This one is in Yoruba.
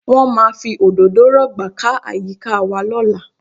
Wọ́n máa fi òdòdó rọ̀gbà ká àyíká wa lọ́la